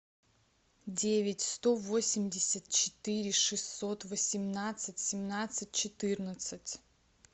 девять сто восемьдесят четыре шестьсот восемнадцать семнадцать четырнадцать